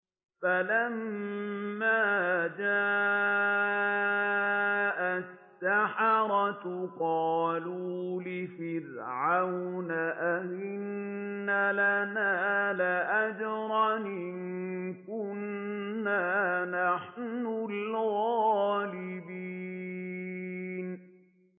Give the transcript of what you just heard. فَلَمَّا جَاءَ السَّحَرَةُ قَالُوا لِفِرْعَوْنَ أَئِنَّ لَنَا لَأَجْرًا إِن كُنَّا نَحْنُ الْغَالِبِينَ